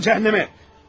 Canın cəhənnəmə!